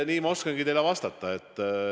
Nii ma oskangi teile vastata.